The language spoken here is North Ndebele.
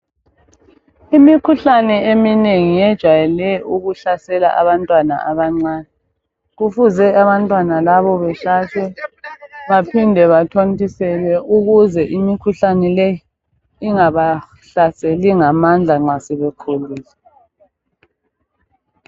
Imikhuhlane eminengi yejwayele ukuhlasela abantwana abancani kufuze abantwana laba behlatshwe baphinde bathontiselwe ukuze imikhuhlane le ingabahlaseli ngamandla nxa sebekhulile